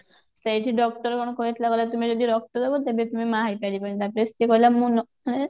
ସେଇଠି doctor ମନା କରିଥିଲା କହିଲା ତୁମେ ଯଦି ରକ୍ତ ଡାବ ତେବେ ତୁମେ ମାଆ ହେଇପାରିବନି ତାପରେ ସେ କହିଲା ମୁଁ ଏଁ